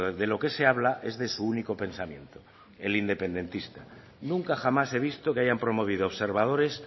de lo que se habla es de su único pensamiento el independentista nunca jamás he visto que hayan promovido observadores